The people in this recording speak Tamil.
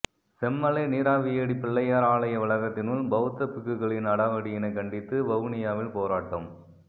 செம்மலை நீராவியடி பிள்ளையார் ஆலய வளாகத்தினுள் பௌத்த பிக்குகளின் அடாவடியினை கண்டித்து வவுனியாவில் போராட்டம்